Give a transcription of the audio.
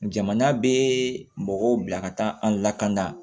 Jamana bɛ mɔgɔw bila ka taa an lakana